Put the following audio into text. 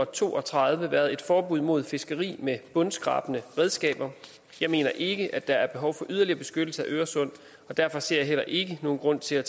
to og tredive været et forbud mod fiskeri med bundskrabende redskaber jeg mener ikke at der er behov for yderligere beskyttelse af øresund og derfor ser jeg heller ikke nogen grund til at